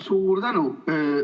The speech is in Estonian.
Suur tänu!